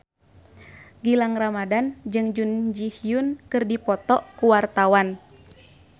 Gilang Ramadan jeung Jun Ji Hyun keur dipoto ku wartawan